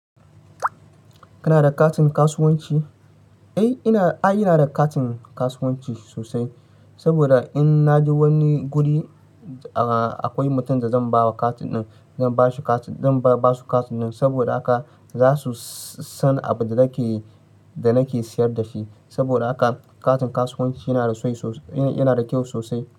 Kana da katin kasuwanci? Eh, ina da katin kasuwanci sosai. Saboda in na je wani guri akwai mutun da zan ba wa katin nan, zan ba su katin nan saboda haka za su san abinda nake da nake siyar da shi. Saboda haka katin kasuwanci yana da kyau sosai.